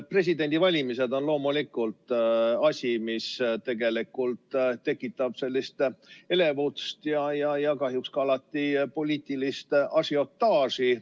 Presidendivalimised on loomulikult selline asi, mis tekitab elevust ja kahjuks alati ka poliitilist ažiotaaži.